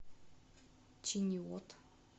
чиниот